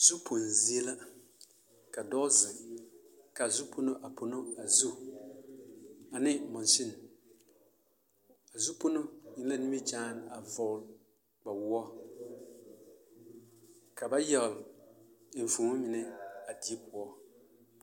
Zupoŋ zie la ka dɔɔ zeŋ ka a zupono a pono a zu ane monsini, a zupono eŋ la nimikyaane a vɔgele kpawoɔ ka ba yagele enfuomo mine a die poɔ.